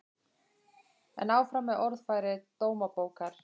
En áfram með orðfæri Dómabókar